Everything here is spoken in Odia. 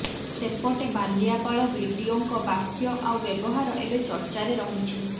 ସେପଟେ ବାଲିଆପାଳ ବିଡିଓଙ୍କ ବାକ୍ୟ ଆଉ ବ୍ୟବହାର ଏବେ ଚର୍ଚ୍ଚାରେ ରହିଛି